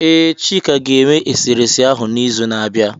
Ee, Chika ga-eme eserese ahu n'izu na-abịa.